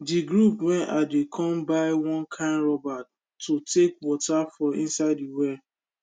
de group wen i dey come buy one kind rubber to take water for inside de well